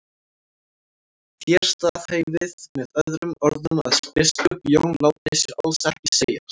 Þér staðhæfið með öðrum orðum að biskup Jón láti sér alls ekki segjast.